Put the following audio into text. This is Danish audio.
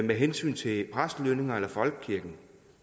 med hensyn til præstelønninger eller folkekirke